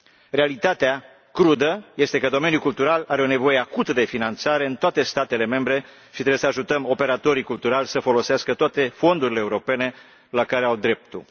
Realitatea crudă este că domeniul cultural are o nevoie acută de finanțare în toate statele membre și trebuie să ajutăm operatorii culturali să folosească toate fondurile europene la care au dreptul.